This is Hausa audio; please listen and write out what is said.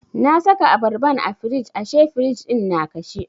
Na saka abarban a firij ashe firij ɗin na kashe.